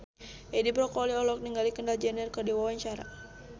Edi Brokoli olohok ningali Kendall Jenner keur diwawancara